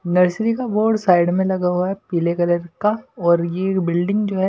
nursery का board side में लगा हुआ है पीले कलर का और ये बिल्डिंग जो है--